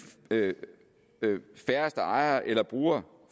færreste ejere eller brugere